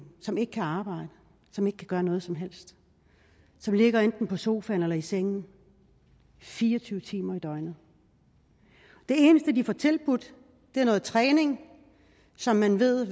som ikke kan arbejde som ikke kan gøre noget som helst som ligger enten på sofaen eller i sengen fire og tyve timer i døgnet det eneste de får tilbudt er noget træning som man ved